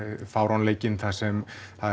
fáránleikinn þar sem